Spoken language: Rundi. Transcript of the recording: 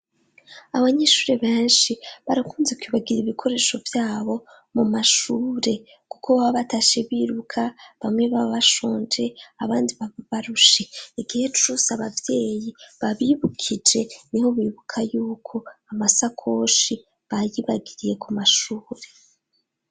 Abanyeshure benshi barakunze kwibagira ibikoresho vyabo mu mashure kuko baba batashe biruka bamwe baba bashonje abandi baba barushe igihe cose abavyeyi babibukije niho bibuka yuko amasakoshi bayibagiriye ku mashure.